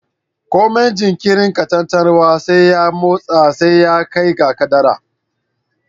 Komai jinkirin katantanwa ya motsa sai ya kai ga kaddara